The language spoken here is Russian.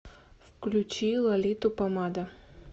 включи лолиту помада